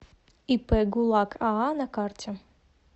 ип гулак аа на карте